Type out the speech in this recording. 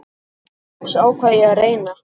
Loks ákvað ég að reyna.